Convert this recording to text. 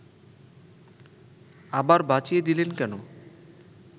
আবার বাঁচিয়ে দিলেন কেন